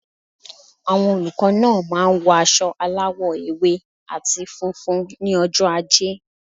Àwon olùkó náà máa n wo aso aláwò ewé àti funfun ní ojó ajé